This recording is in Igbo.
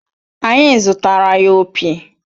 Anyị zụtaara ya opi